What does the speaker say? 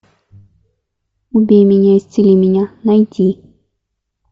убей меня исцели меня найти